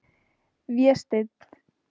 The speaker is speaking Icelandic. Vésteinn